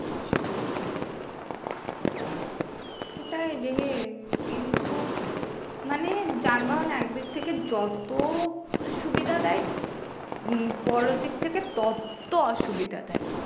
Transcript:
সেটাই রে কিন্তু মানে যানবাহন একদিক থেকে যত সুবিধা দেয় উম অপর দিক থেকে তত অসুবিধা দেয়